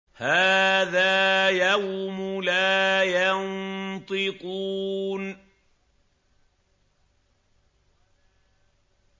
هَٰذَا يَوْمُ لَا يَنطِقُونَ